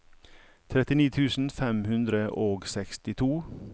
trettini tusen fem hundre og sekstito